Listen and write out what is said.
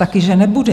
Taky že nebude.